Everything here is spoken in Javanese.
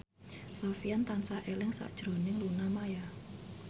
Sofyan tansah eling sakjroning Luna Maya